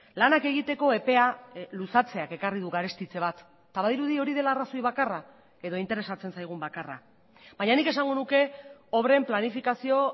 lanak egiteko epea luzatzeak ekarri du garestitze bat eta badirudi hori dela arrazoi bakarra edo interesatzen zaigun bakarra baina nik esango nuke obren planifikazio